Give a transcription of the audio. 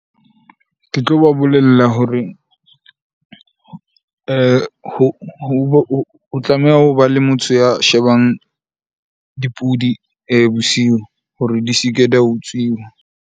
Ke tlo ba bolella hore ho tlameha hobe le motho ya shebang dipudi bosiu hore di se ke di a utsiwa.